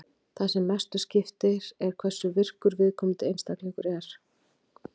Það sem mestu máli skiptir er hversu virkur viðkomandi einstaklingur er.